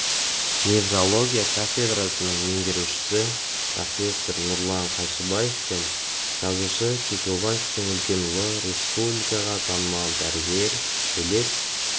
неврология кафедрасының меңгерушісі профессор нұрлан қайшыбаев пен жазушы кекілбаевтың үлкен ұлы республикаға танымал дәрігер әулет